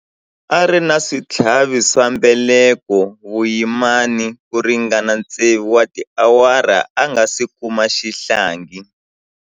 A ri na switlhavi swa mbeleko vuyimani ku ringana tsevu wa tiawara a nga si kuma xihlangi.